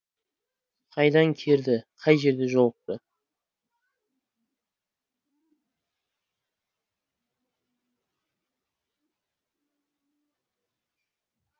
қайдан керді қай жерде жолықты